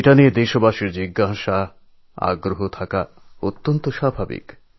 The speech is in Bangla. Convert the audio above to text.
এই বিষয়ে দেশবাসীর অনেক প্রশ্ন অনুসন্ধিৎসা থাকা খুবই স্বাভাবিক